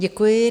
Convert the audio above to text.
Děkuji.